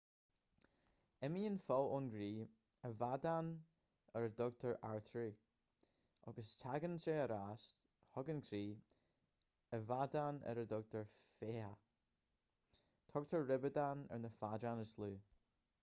imíonn fuil ón gcroí i bhfeadáin ar a dtugtar artairí agus tagann ar ais chuig an gcroí i bhfeadáin ar a dtugtar féitheacha tugtar ribeadáin ar na feadáin is lú